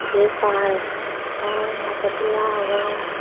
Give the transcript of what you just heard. jei par par nager dula obo.